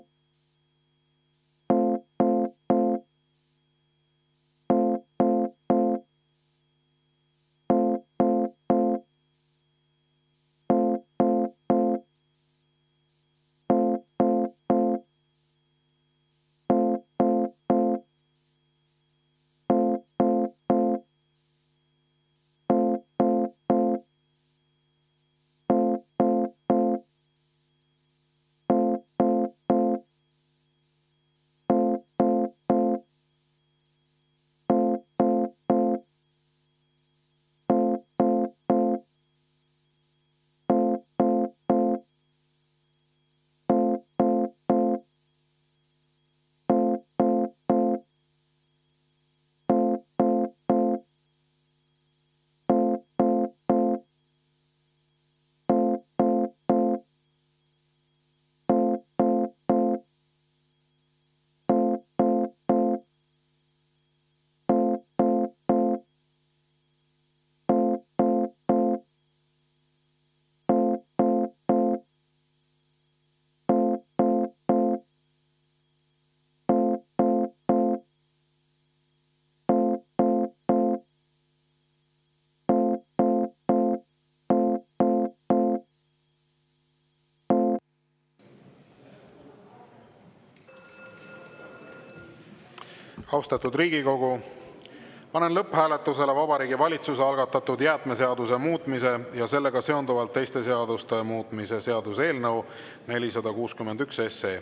Austatud Riigikogu, panen lõpphääletusele Vabariigi Valitsuse algatatud jäätmeseaduse muutmise ja sellega seonduvalt teiste seaduste muutmise seaduse eelnõu 461.